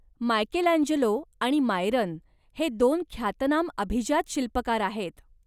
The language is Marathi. मायकेलांजेलो आणि मायरन हे दोन ख्यातनाम अभिजात शिल्पकार आहेत.